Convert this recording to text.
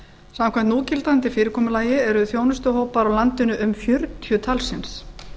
samkvæmt núgildandi fyrirkomulagi eru þjónustuhópar á landinu um fjörutíu talsins